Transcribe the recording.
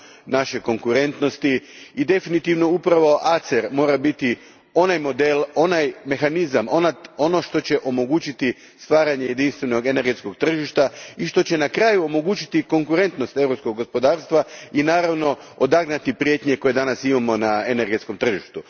naše konkurentnosti i definitivno upravo ACER mora biti onaj model, onaj mehanizam, ono što će omogućiti stvaranje jedinstvenog energetskog tržišta i što će na kraju omogućiti konkurentnost europskog gospodarstva i naravno odagnati prijetnje koje danas imamo na energetskom tržištu.